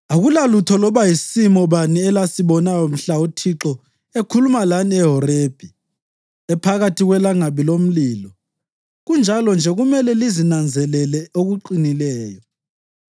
“Akulalutho loba yisimo bani elasibonayo mhla uThixo ekhuluma lani eHorebhi ephakathi kwelangabi lomlilo. Kunjalo-nje kumele lizinanzelele okuqinileyo,